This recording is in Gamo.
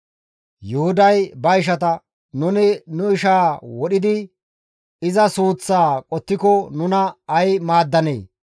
Yuhuday ba ishata, «Nuni nu ishaa wodhidi iza suuththaa qottiko nuna ay maaddanee?